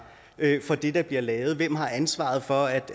for det der bliver lavet hvem har ansvaret for at